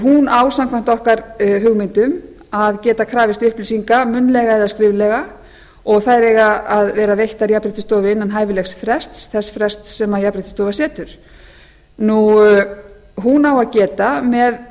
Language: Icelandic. hún á samkvæmt okkar hugmyndum að geta krafist upplýsinga munnlega eða skriflega og þær eiga að vera veittar jafnréttisstofa innan hæfilegs frests þess frests sem jafnréttisstofa setur hún á að geta með